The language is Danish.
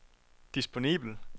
disponibel